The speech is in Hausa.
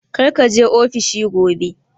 Kar ka je ofishi gobe!